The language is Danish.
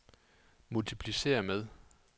multipliceret med